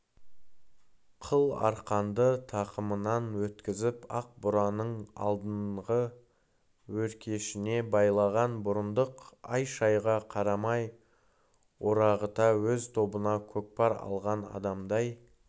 қыл арқанды тақымынан өткізіп ақ бураның алдыңғы өркешіне байлаған бұрындық ай-шайға қарамай орағыта өз тобына көкпар алған адамдай